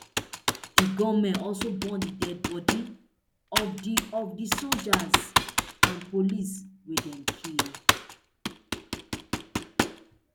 di gunmen also burn di deadibodi of di of di soldiers and police wey dem kill